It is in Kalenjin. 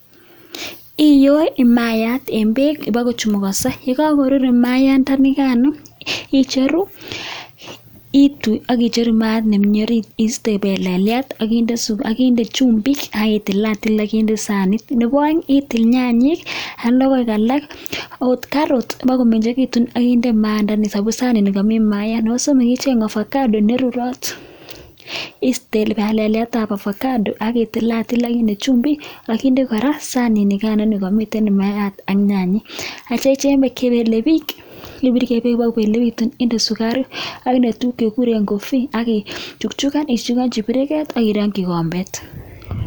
Iyoi maiyat eng beek ipokochemukanso, ye kakoruur mayaandikan icheru, itui ak icheru maayat nemi ariit, iiste peleliet akinde chumbik aki tilatil akinde sanit. Nebo aeng itil nyanyik ak logoek alak akot carrot ipkomengechitun akinde maayandani amun sanini kami mayaat. Nebo somok icheng ovacado ne rurot, iiste pelelietab ovacado ak kitilatil akinde chumbik akinde kora sanit nikana ne kamiten mayaat ak nyanyek, akecheng beek che pele biich, ipurkei beek ipkoleplepitu, indee sukaruk akinde tuguk chekikure coffee ak kichuchukan, ichuchukanchi kipiriket ak irongchi kikombet.